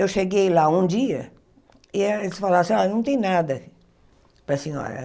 Eu cheguei lá um dia e eh eles falaram assim, ah, não tem nada para a senhora.